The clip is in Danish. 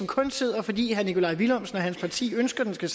kun sidder fordi herre nikolaj villumsen og hans parti ønsker det